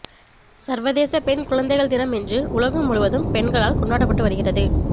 சர்வதேச பெண் குழந்தைகள் தினம் இன்று உலகம் முழுவதும் பெண்களால் கொண்டாடப்பட்டு வருகிறது